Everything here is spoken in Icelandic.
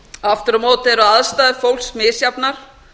aftur á móti eru aðstæður fólks misjafnar